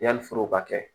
Yanni foro ka kɛ